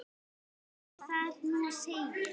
ið þar til hún segir